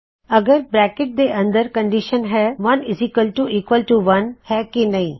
IF bracket ਦੇ ਅੰਦਰ condition ਹੈ ਕੀ ਇੱਕ ਬਰਾਬਰ ਇੱਕ 11 ਹੈ ਕੀ ਨਹੀ